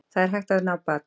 Það er hægt að ná bata